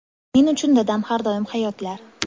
Men uchun dadam har doim hayotlar.